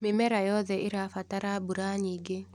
Mĩmera yothe ĩrabatara mbura nyingĩ.